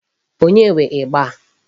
Onye nwe ịgba a?